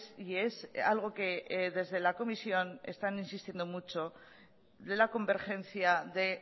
y es algo que desde la comisión están insistiendo mucho de la convergencia de